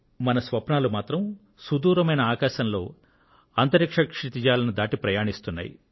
మన స్వప్నాలు మాత్రం సుదూరమైన ఆకాశంలో క్షితిజాలను దాటి ప్రయాణిస్తున్నాయి